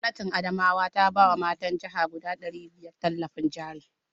Gwamnatin Adamawa ta ba wa matan jihar guda ɗari biyar tallafin jari